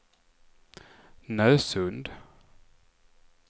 Nösund